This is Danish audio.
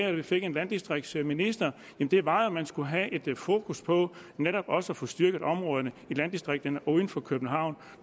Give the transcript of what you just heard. og vi fik en landdistriktsminister jo var at man skulle have fokus på netop også at få styrket områderne i landdistrikterne uden for københavn